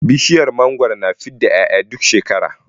Bishiyar mangwaro tana fidda 'ya'ya duk shekara